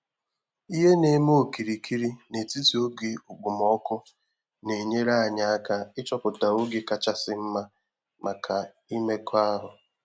Ihe na-eme okirikiri n’etiti oge okpomọkụ na-enyere anyị aka ịchọpụta oge kachasị mma maka imekọahụ.